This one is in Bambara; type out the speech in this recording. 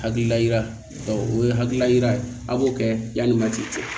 Hakilila yira o ye hakilila yira a b'o kɛ yani waati cɛ